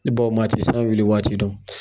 maa ti san wili waati dɔn